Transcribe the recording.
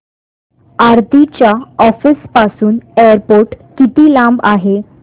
आरती च्या ऑफिस पासून एअरपोर्ट किती लांब आहे